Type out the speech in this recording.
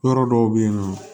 Yɔrɔ dɔw bɛ yen nɔ